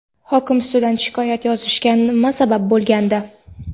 Hokim ustidan shikoyat yozilishiga nima sabab bo‘lgandi?.